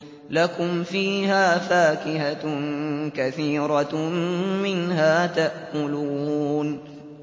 لَكُمْ فِيهَا فَاكِهَةٌ كَثِيرَةٌ مِّنْهَا تَأْكُلُونَ